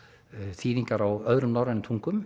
þýðingar á öðrum norrænum tungum